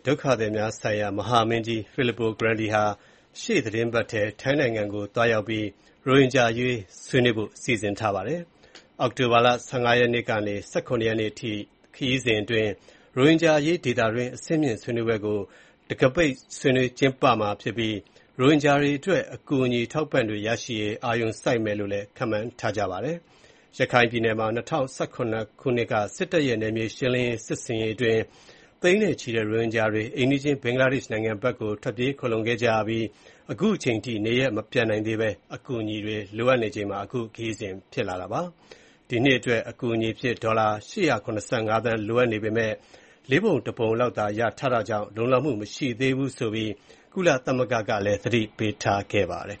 ဒုက္ခသည်များဆိုင်ရာ ကုလသမဂ္ဂ မဟာမင်းကြီး Filippo Grandi ဟာ ရှေ့သီတင်းပတ်ထဲ ထိုင်းနိုင်ငံကို သွားရောက်ပြီး ရိုဟင်ဂျာအရေး ဆွေးနွေးဖို့ စီစဉ်ထားပါတယ်။ အောက်တိုဘာလ ၁၅ ရက်နေ့ကနေ ၁၇ ရက်နေ့အထိ ခရီးစဉ်အတွင်း ရိုဟင်ဂျာအရေး ဒေသတွင်း အဆင့်မြင့်ဆွေးနွေးပွဲကို တံခါးပိတ် ကျင်းပမှာဖြစ်ပြီး ရိုဟင်ဂျာတွေအတွက် အကူအညီ အထောက်အပံ့တွေ ရရှိရေး အာရုံစိုက်မယ်လို့လည်း ခန့်မှန်းရပါတယ်။ ရခိုင်ပြည်နယ်မှာ ၂၀၁၇ ခုနှစ်က စစ်တပ်ရဲ့ နယ်မြေရှင်းလင်းရေး စစ်ဆင်ရေးအတွင်း သိန်းနဲ့ချီတဲ့ ရိုဟင်ဂျာတွေ အိမ်နီးချင်း ဘင်္ဂလားဒေ့ရှ်နိုင်ငံကို ထွက်ပြေးခိုလှုံခဲ့ကြရပြီး အခုအချိန်အထိ နေရပ်မပြန်နိုင်သေးဘဲ အကူအညီတွေ လိုအပ်နေတာပါ။ ဒီနှစ်အတွက် အကူအညီအဖြစ် ဒေါ်လာ ၈၇၅ သန်း လိုအပ်နေပေမယ့် ၄ ပုံ ၁ ပုံလောက်သာ ရထားတာကြောင့် လုံလောက်မှု မရှိသေးဘူးဆိုပြီး ကုလသမဂ္ဂက သတိပေးထားပါတယ်